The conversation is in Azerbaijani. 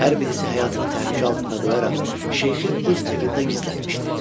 Hər birisi həyatını təhlükə altında qoyaraq şeyxi öz evində gizlətmişdi.